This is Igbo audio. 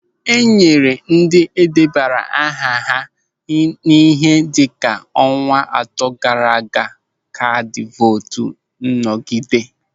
E nyere ndị debara aha ha ihe dịka ọnwa atọ gaara aga kaadị vootu nnọgide.